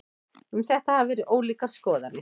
Um þetta hafa verið ólíkar skoðanir.